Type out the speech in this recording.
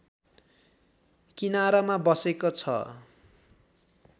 किनारमा बसेको छ